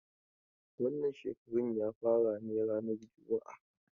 Wannan shekaran ya fara ne rana juma'a.